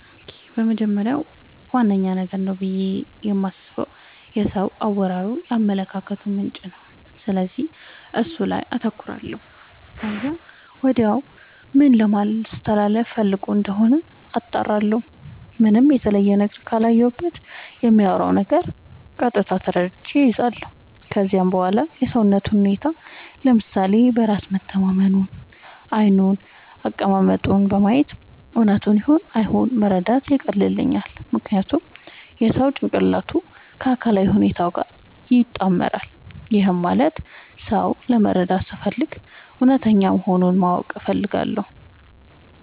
በመጀመሪያ ዋነኛ ነገር ነው ብዬ የማስበው የሰው አወራሩ የአመለካከቱ ምንጭ ነው፤ ስለዚህ እሱ ላይ አተኩራለው ከዚያም ወዲያ ምን ለማለስተላለፋ ፈልጎ እንደሆነ አጣራለሁ። ምንም የተለየ ነገር ካላየሁበት በሚያወራው ነገር ቀጥታ ተረድቼ እይዛለው። ከዚያም በዋላ የሰውነቱን ሁኔታ፤ ለምሳሌ በራስ መተማመኑን፤ ዓይኑን፤ አቀማመጡን በማየት እውነቱን ይሁን አይሁን መረዳት ያቀልልኛል። ምክንያቱም የሰው ጭንቅላቱ ከአካላዊ ሁኔታው ጋር ይጣመራል። ይህም ማለት ሰው ለመረዳት ስፈልግ እውነተኛ መሆኑን ማወቅ እፈልጋለው።